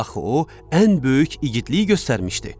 Axı o ən böyük igidlik göstərmişdi.